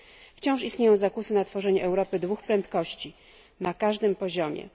Wciąż istnieją zakusy na tworzenie Europy dwóch prędkości, na każdym poziomie.